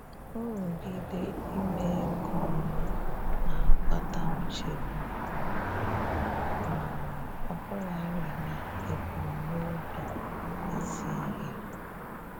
Nrụgide ime nke ọma na-akpata nchegbu, um ọbụlarị n'ebumnobi ezi ihe.